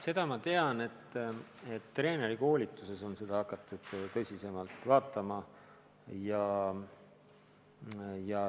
Seda ma tean, et treenerikoolituses on seda hakatud tõsisemalt käsitlema.